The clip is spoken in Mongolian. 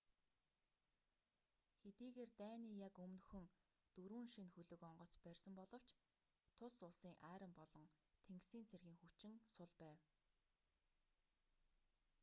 хэдийгээр дайны яг өмнөхөн дөрвөн шинэ хөлөг онгоц барьсан боловч тус улсын арми болон тэнгисийн цэргийн хүчин сул байв